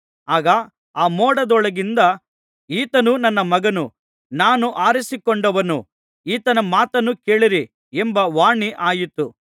ಆಗ ಆ ಮೋಡದೊಳಗಿಂದ ಈತನು ನನ್ನ ಮಗನು ನಾನು ಆರಿಸಿಕೊಂಡವನು ಈತನ ಮಾತನ್ನು ಕೇಳಿರಿ ಎಂಬ ವಾಣಿ ಆಯಿತು